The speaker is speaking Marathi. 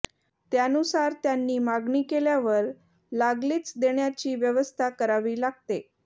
त्यानुसार त्यांनी मागणी केल्यावर लागलीच देण्याची व्यवस्था करावी लागते